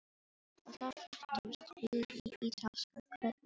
Og þá fluttumst við í ítalska hverfið sagði hún.